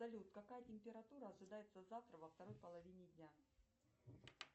салют какая температура ожидается завтра во второй половине дня